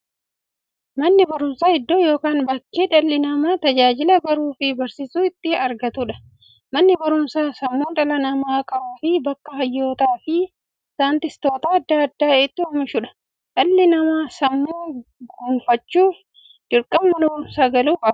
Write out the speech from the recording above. Manni baruumsaa iddoo yookiin bakkee dhalli namaa tajaajila baruufi barsiisuu itti argatuudha. Manni baruumsaa sammuu dhala namaa qaruufi bakka hayyootafi saayintistoota adda addaa itti oomishuudha. Dhalli namaa sammuun gufachuuf, dirqama Mana baruumsaa galuu qaba.